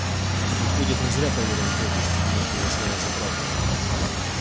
выходит он зря поверил добби приняв его слова за правду